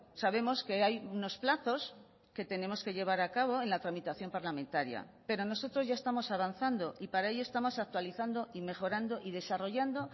sabemos que hay unos plazos que tenemos que llevar a cabo en la tramitación parlamentaria pero nosotros ya estamos avanzando y para ello estamos actualizando y mejorando y desarrollando